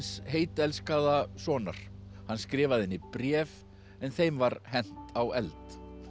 heittelskaða sonar hann skrifaði henni bréf en þeim var hent á eld